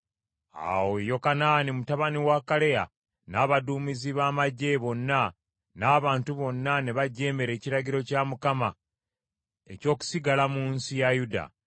Awo Yokanaani mutabani wa Kaleya n’abaduumizi ba magye bonna n’abantu bonna ne bajeemera ekiragiro kya Mukama eky’okusigala mu nsi ya Yuda.